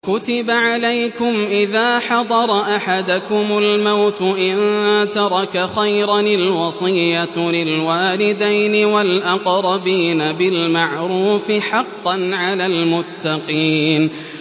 كُتِبَ عَلَيْكُمْ إِذَا حَضَرَ أَحَدَكُمُ الْمَوْتُ إِن تَرَكَ خَيْرًا الْوَصِيَّةُ لِلْوَالِدَيْنِ وَالْأَقْرَبِينَ بِالْمَعْرُوفِ ۖ حَقًّا عَلَى الْمُتَّقِينَ